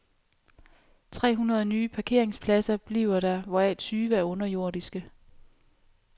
Tre hundrede nye parkeringspladser bliver der, hvoraf tyve er underjordiske.